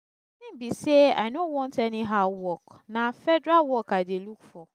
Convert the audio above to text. the thing be say i no want anyhow work na federal work i dey look for